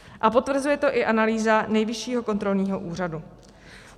A potvrzuje to i analýza Nejvyššího kontrolního úřadu.